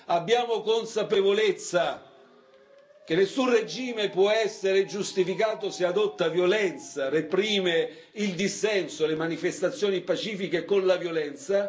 Abbiamo consapevolezza che nessun regime può essere giustificato se adotta violenza e reprime il dissenso e le manifestazioni pacifiche con la violenza.